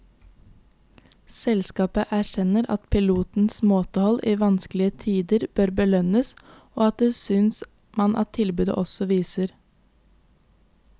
Selskapet erkjenner at pilotenes måtehold i vanskelige tider bør belønnes, og det synes man at tilbudet også viser.